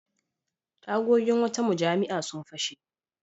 Tagogin wata mujami'a sun fashe.